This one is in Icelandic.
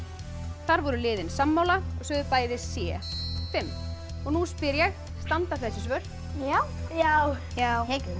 þar voru liðin sammála og sögðu bæði c fimm og nú spyr ég standa þessi svör já já já